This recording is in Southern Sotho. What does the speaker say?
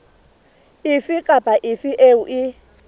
efe kapa efe eo e